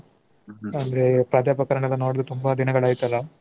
ಅಂದ್ರೆ ಪ್ರಾಧ್ಯಾಪಕರನ್ನ ನೋಡ್ದೆ ತುಂಬಾ ದಿನಗಳಾಯ್ತಲ್ಲ.